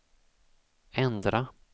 ändra